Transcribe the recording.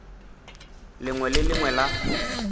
lengwe le le lengwe la